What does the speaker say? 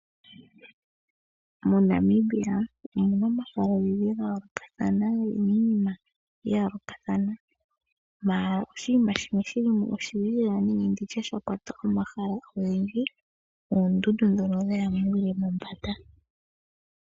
MoNamibia omuna omahala ogendji gaa yoolokathana gena iinima ya yoolokathana ndele oshinima shimwe shilimo oshilulila nenge nditye shakwata omahala ogendji ,oondundu dhoka dhaya muule mombanda.